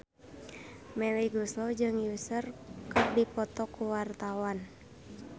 Melly Goeslaw jeung Usher keur dipoto ku wartawan